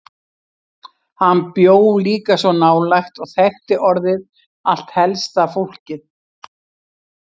Hann bjó líka svo nálægt og þekkti orðið allt helsta fólkið.